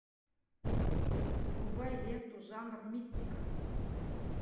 врубай ленту жанр мистика